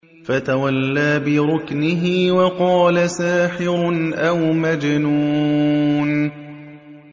فَتَوَلَّىٰ بِرُكْنِهِ وَقَالَ سَاحِرٌ أَوْ مَجْنُونٌ